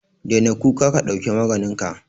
Daina kuka ka dauki maganinka.